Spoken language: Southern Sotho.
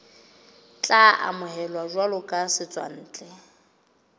tla amohelwa jwalo ka setswantle